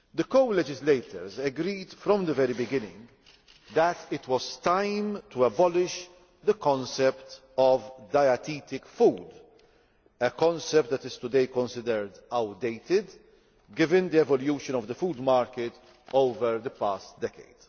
The co legislators agreed from the very beginning that it was time to abolish the concept of dietetic food a concept that is considered outdated today, given the evolution of the food market over the past decade.